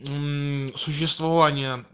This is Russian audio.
мм существование